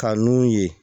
Ka nun ye